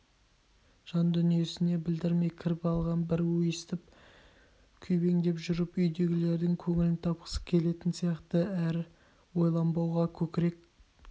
жан-дүниесіне білдірмей кіріп алған бір өстіп күйбеңдеп жүріп үйдегілердің көңілін тапқысы келетін сияқты әр ойланбауға көкірек